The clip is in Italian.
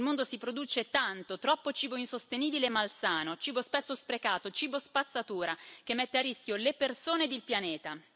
Nel mondo si produce tanto, troppo cibo insostenibile e malsano, cibo spesso sprecato, cibo spazzatura che mette a rischio le persone e il pianeta.